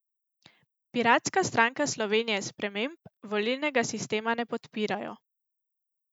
Piratska stranka Slovenije Sprememb volilnega sistema ne podpirajo.